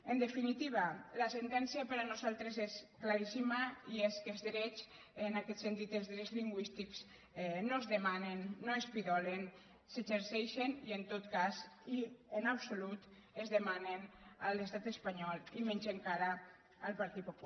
en definitiva la sentència per nosaltres és claríssima i és que els drets en aquest sentit els drets lingüístics no es demanen no es pidolen s’exerceixen i en absolut es demanen a l’estat espanyol i menys encara al partit popular